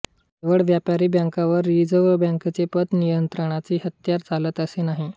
केवळ व्यापारी बँकांवर रिझर्व्ह बँकेचे हे पतनियंत्रणाचे हत्यार चालते असे नाही